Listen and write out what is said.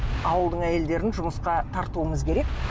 ауылдың әйелдерін жұмысқа тартуымыз керек